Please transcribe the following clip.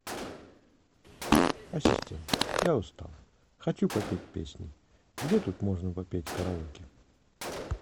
ассистент я устал хочу попеть песни где тут можно попеть караоке